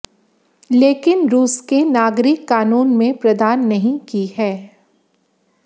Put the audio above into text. लेकिन रूस के नागरिक कानून में प्रदान नहीं की है